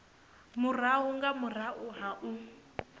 murahu nga murahu ha u